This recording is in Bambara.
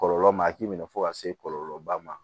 Kɔlɔlɔ ma a k'i minɛ fo ka se kɔlɔlɔba ma